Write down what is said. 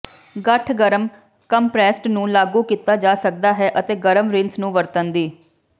ਗੱਠ ਗਰਮ ਕੰਪਰੈੱਸਡ ਨੂੰ ਲਾਗੂ ਕੀਤਾ ਜਾ ਸਕਦਾ ਹੈ ਅਤੇ ਗਰਮ ਰਿੰਸ ਨੂੰ ਵਰਤਣ ਦੀ